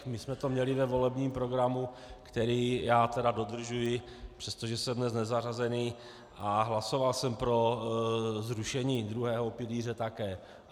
My jsme to měli ve volebním programu, který já tedy dodržuji, přestože jsem dnes nezařazený, a hlasoval jsem pro zrušení druhého pilíře také.